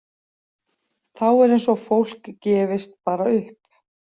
Þá er eins og fólk gefist bara upp.